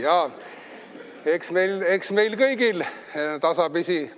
Jaa, eks meil kõigil tasapisi.